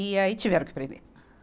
E aí tiveram que prender.